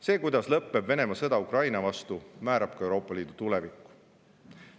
See, kuidas lõppeb Venemaa sõda Ukraina vastu, määrab ka Euroopa Liidu tuleviku.